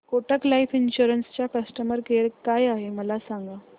Kotak life insurance चा customer care काय आहे मला सांगा